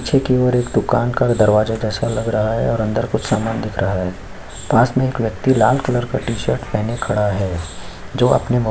पीछे की ओर एक दुकान का दरवाजा जैसा लग रहा है और अंदर में कुछ सामान दिख रहा है पास में एक व्यक्ति लाल कलर का टी-शर्ट पहने खड़ा है जो अपने मो--